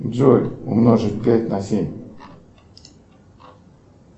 джой умножить пять на семь